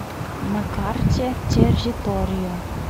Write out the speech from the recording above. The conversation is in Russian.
на карте территория